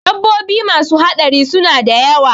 Dabbobi masu haɗari suna da yawa